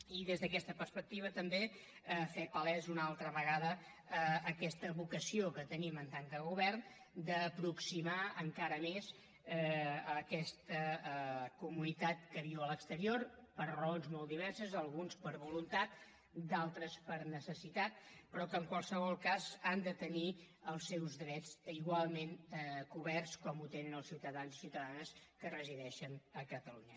i des d’aquesta perspectiva també fer palesa una altra vegada aquesta vocació que tenim en tant que govern d’aproximar encara més aquesta comunitat que viu a l’exterior per raons molt diverses alguns per voluntat d’altres per necessitat però que en qualsevol cas han de tenir els seus drets igualment coberts com els tenen els ciutadans i ciutadanes que resideixen a catalunya